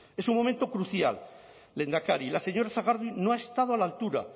es un momento crucial lehendakari la señora sagardui no ha estado a la altura